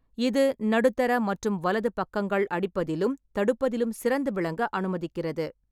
இது நடுத்தர மற்றும் வலது பக்கங்கள் அடிப்பதிலும் தடுப்பதிலும் சிறந்து விளங்க அனுமதிக்கிறது.